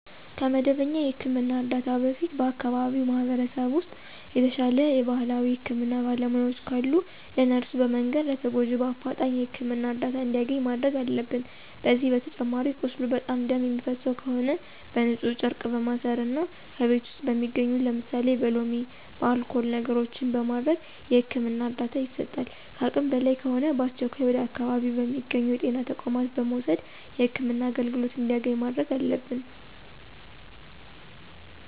ከመደበኛ የህክምና እርዳታ በፊት በአከባቢው ማህበረሰብ ውስጥ የተሻለ የባህላዊ የህክምና ባለሙያዎች ካሉ ለእነሱ በመንገር ለተጎጁ በአፍጣኝ የህክምና እርዳታ እንዲያገኝ ማድረግ አለብን። ከዚህ በተጨማሪ ቁስሉ በጣም ደም የሚፈሰው ከሆነ በንፁህ ጨርቅ በማሰር እና ከቤት ውስጥ በሚገኙ ለምሳሌ በሎሚ፣ በአልኮል ነገሮችን በማድረግ የህክምና እርዳታ ይሰጣል። ከአቅም በላይ ከሆነ በአስቸኳይ ወደ አካባቢው በሚገኙ የጤና ተቋማት በመውሰድ የህክምና አገልግሎት እንዲያገኝ ማድረግ አለብን።